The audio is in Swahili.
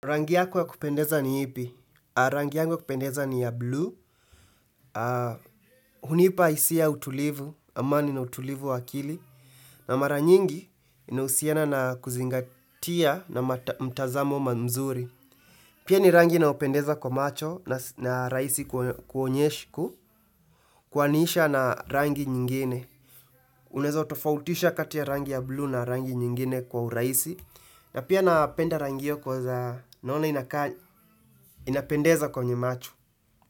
Rangi yako ya kupendeza ni ipi? Rangi yangu ya kupendeza ni ya blue. Hunipa hisia utulivu, amani na utulivu wakili. Na mara nyingi inahusiana na kuzingatia na mtazamo mzuri. Pia ni rangi na upendeza kwa macho na rahisi kuaniisha na rangi nyingine. Unaeza utofautisha katia rangi ya blue na rangi nyingine kwa urahisi na pia napenda rangi hio kwa inapendeza kwenye macho.